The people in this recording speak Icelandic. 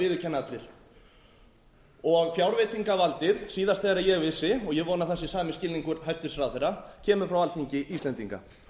viðurkenna allir fjárveitingavaldið síðast þegar ég vissi og ég vona að það sé sami skilningur hæstvirtur ráðherra kemur frá alþingi íslendinga